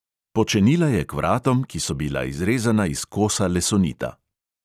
Počenila je k vratom, ki so bila izrezana iz kosa lesonita.